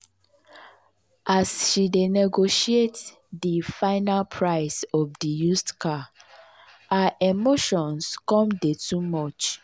as she dey negotiate di final price of di used car her emotions come dey too much.